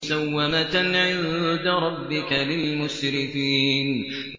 مُّسَوَّمَةً عِندَ رَبِّكَ لِلْمُسْرِفِينَ